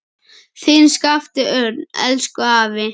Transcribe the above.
Þinn Skapti Örn. Elsku afi.